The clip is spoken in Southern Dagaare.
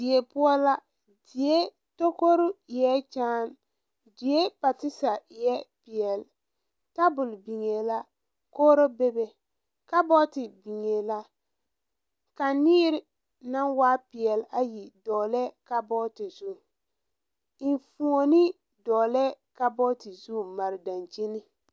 Die poʊ la. Die tokoru eɛ kyaane. Die partisa eɛ pɛɛli. Tabul biŋe la. Kogro bebe. Kabɔte biŋe la. Kaneer na waa pɛɛli ayi doolɛ kabɔte zu. Eŋfuone doolɛ kabɔte zu mare dankyeni